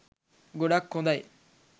ගොඩක් හොඳයි